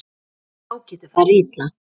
Þá getur farið illa.